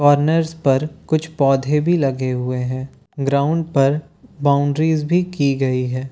Corners पर कुछ पौधे लगे हुए हैं ग्राउन्ड पर बॉउन्ड्रीस भी की गई है।